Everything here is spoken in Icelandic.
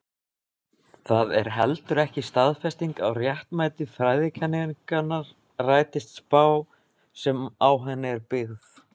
Það er heldur ekki staðfesting á réttmæti fræðikenningarinnar rætist spá sem á henni er byggð.